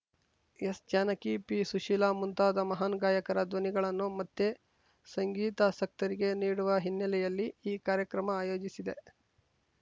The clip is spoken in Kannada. ಎಸ್‌ಜಾನಕಿ ಪಿಸುಶೀಲಾ ಮುಂತಾದ ಮಹಾನ್‌ ಗಾಯಕರ ಧ್ವನಿಗಳನ್ನು ಮತ್ತೆ ಸಂಗೀತಾಸಕ್ತರಿಗೆ ನೀಡುವ ಹಿನ್ನೆಲ್ಲೆಯಲ್ಲಿ ಈ ಕಾರ್ಯಕ್ರಮ ಆಯೋಜಿಸಿದೆ